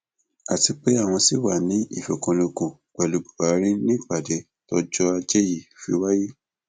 àti pé àwọn ṣì wàá ní ìfikùnlukùn pẹlú buhari ni ìpàdé tọjọ ajé yìí fi wáyé